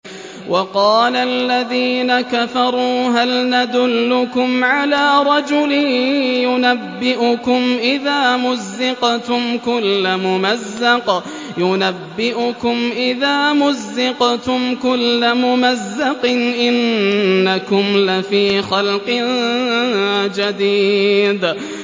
وَقَالَ الَّذِينَ كَفَرُوا هَلْ نَدُلُّكُمْ عَلَىٰ رَجُلٍ يُنَبِّئُكُمْ إِذَا مُزِّقْتُمْ كُلَّ مُمَزَّقٍ إِنَّكُمْ لَفِي خَلْقٍ جَدِيدٍ